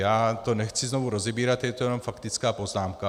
Já to nechci znovu rozebírat, je to jenom faktická poznámka.